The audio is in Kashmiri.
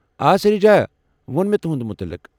آ سریٖجا وۄن مے٘ تُہُنٛد متعلق ۔